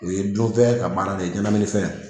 U ye dun fɛn ka baara de ye ɲɛnɛmini fɛn